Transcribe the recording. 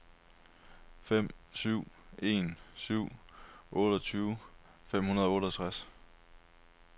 fem syv en syv otteogtyve fem hundrede og otteogtres